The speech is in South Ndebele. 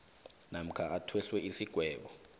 namkha athweswe isigwebo